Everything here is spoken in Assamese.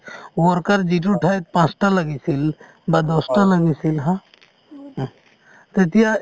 worker যিটো ঠাইত পাঁচটা লাগিছিল বা দহটা লাগিছিল haa তেতিয়া